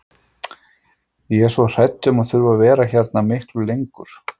Ég er svo hrædd um að þurfa að vera hérna miklu lengur.